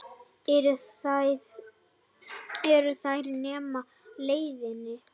Eru þær nema á leiðinni?